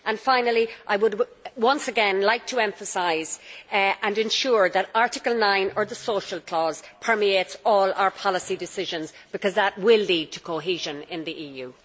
Finally, I would once again like to emphasise and ensure that Article 9, or the social clause', permeates all our policy decisions, because that really will lead to cohesion in the EU.